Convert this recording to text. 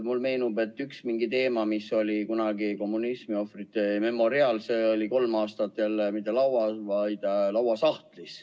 Mulle meenub, et üks teema, kommunismiohvrite memoriaal, oli kolm aastat isegi mitte laual, vaid lauasahtlis.